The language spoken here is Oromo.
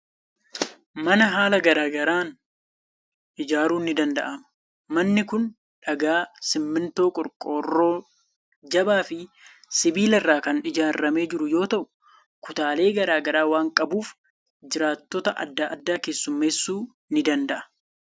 Mana haala garaa garaan ijaaruun ni danda'ama. Manni kun dhagaa, simmintoo, qorqorroo jabaa fi sibiila irraa kan ijaaramee jiru yoo ta'u, kutaalee garaa garaa waan qabuuf jiraattota adda addaa keessummeessuu ni danda'a.